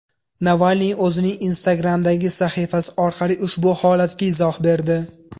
Navalniy o‘zining Instagram’dagi sahifasi orqali ushbu holatga izoh berdi .